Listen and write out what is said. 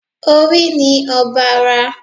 Orí ni ọba ara